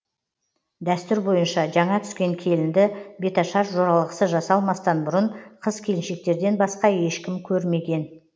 дәстүр бойынша жаңа түскен келінді беташар жоралғысы жасалмастан бұрын қыз келіншектерден басқа ешкім көрмеген